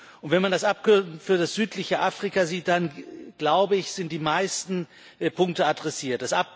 Und wenn man das Abkommen für das südliche Afrika sieht, dann, glaube ich, sind die meisten Punkte adressiert.